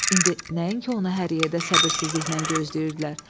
İndi nəinki onu hər yerdə səbirsizliklə gözləyirdilər.